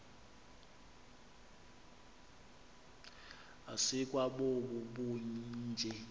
asikwa bobu bunje